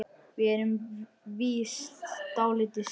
Við erum víst dálítið sein.